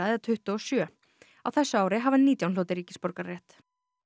eða tuttugu og sjö á þessu ári hafa nítján hlotið ríkisborgararétt